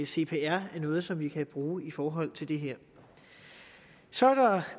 cpr er noget som vi kan bruge i forhold til det her så er der